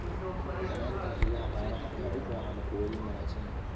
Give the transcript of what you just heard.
Taranta riyaha caanaha ayaa u baahan quudin wanaagsan.